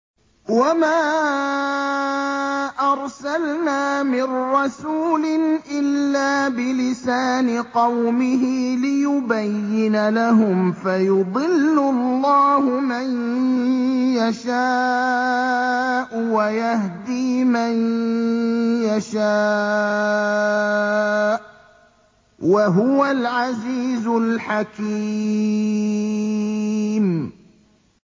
وَمَا أَرْسَلْنَا مِن رَّسُولٍ إِلَّا بِلِسَانِ قَوْمِهِ لِيُبَيِّنَ لَهُمْ ۖ فَيُضِلُّ اللَّهُ مَن يَشَاءُ وَيَهْدِي مَن يَشَاءُ ۚ وَهُوَ الْعَزِيزُ الْحَكِيمُ